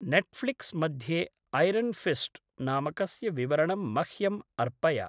Netflix मध्ये Iron Fist नामकस्य विवरणं मह्यम् अर्पय।